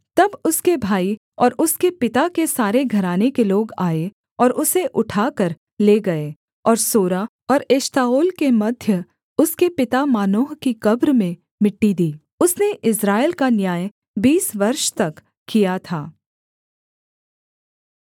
तब उसके भाई और उसके पिता के सारे घराने के लोग आए और उसे उठाकर ले गए और सोरा और एश्ताओल के मध्य उसके पिता मानोह की कब्र में मिट्टी दी उसने इस्राएल का न्याय बीस वर्ष तक किया था